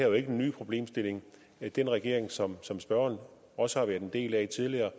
jo ikke en ny problemstilling den regering som som spørgeren også har været en del af tidligere